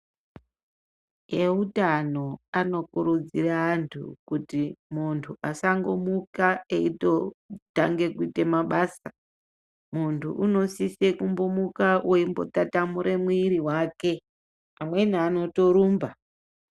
Eutano anokurudzira antu kuti muntu asangomuka eitotange kuite mabasa, muntu unosise kumbomuka weimbotatamure mwiri wake. Amweni anotorumba.